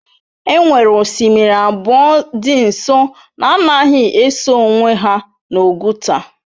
E nwere osimiri abụọ dị nso na-anaghị eso onwe ha n'Oguta